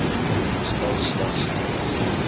stel slegs nadat